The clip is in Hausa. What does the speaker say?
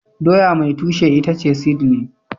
doya mai tushe itace seedling